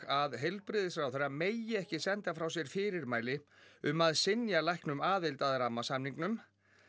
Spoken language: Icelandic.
að heilbrigðisráðherra megi ekki senda frá sér fyrirmæli um að synja læknum um aðild að rammasamningnum